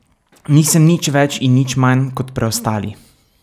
Nisem nič več in nič manj kot preostali.